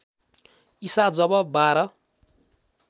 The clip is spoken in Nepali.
ईसा जब बाह्र